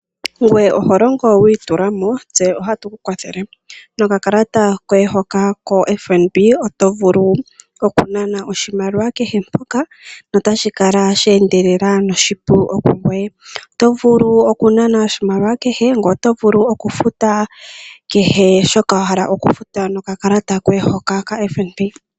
Ngweye oho longo wi itula mo, tse otatu ku kwathele. Nokakalata koye hoka koFNB oto vulu oku nana oshimaliwa kehe mpoka, notashi kala she endelela noshipu wo kungoye. Oto vulu oku nana oshimaliwa kehe, ngoye oto vulu oku futa kehe shoka wa hala oku futa nokakaklata koye hoka kaFNB.